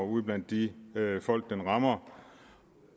ude blandt de folk den rammer